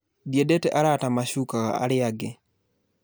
Ndiendete arata macukaga aria angi